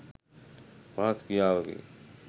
පහත් ක්‍රියාවකි.